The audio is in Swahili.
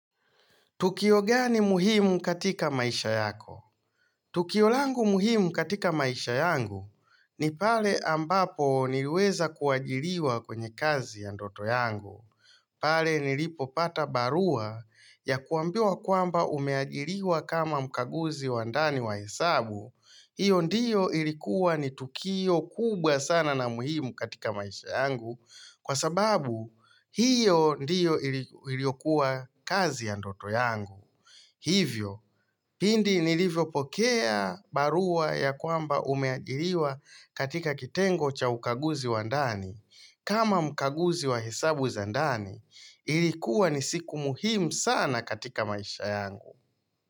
Tukio gani muhimu katika maisha yako? Tukio langu muhimu katika maisha yangu ni pale ambapo niliweza kuajiriwa kwenye kazi ya ndoto yangu. Pale nilipopata barua ya kuambiwa kwamba umeajiriwa kama mkaguzi wa ndani wa hesabu. Hiyo ndiyo ilikuwa ni tukio kubwa sana na muhimu katika maisha yangu kwa sababu hiyo ndiyo iliyokuwa kazi ya ndoto yangu. Hivyo, pindi nilivyopokea barua ya kwamba umeajiriwa katika kitengo cha ukaguzi wa ndani. Kama mkaguzi wa hesabu za ndani, ilikuwa ni siku muhimu sana katika maisha yangu.